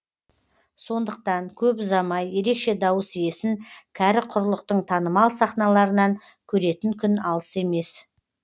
сондықтан көп ұзамай ерекше дауыс иесін кәрі құрлықтың танымал сахналарынан көретін күн алыс емес